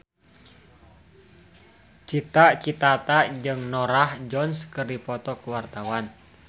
Cita Citata jeung Norah Jones keur dipoto ku wartawan